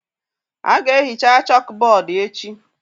A ga-ehicha chọọkụbọọdụ echi.